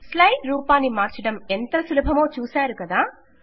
slide రూపాన్ని మార్చడం ఎంత సులభమో చూసారు కదా